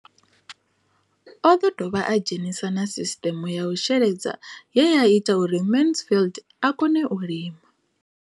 O ḓo dovha a dzhenisa na sisiṱeme ya u sheledza ye ya ita uri Mansfied a kone u lima.